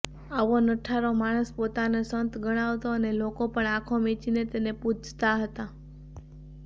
આવો નઠારો માણસ પોતાને સંત ગણાવતો અને લોકો પણ આંખો મીંચીને તેને પૂજતા હતા